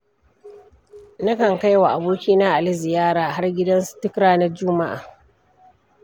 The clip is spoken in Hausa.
Nakan kaiwa abokina Ali ziyara har gidansu duk ranar juma'a.